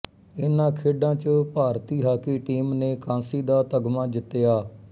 ਇਹਨਾਂ ਖੇਡਾਂ ਚ ਭਾਰਤੀ ਹਾਕੀ ਟੀਮ ਨੇ ਕਾਂਸੀ ਦਾ ਤਗਮਾ ਜਿੱਤਿਆ